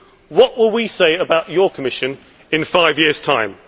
What will we say about your Commission in five years' time?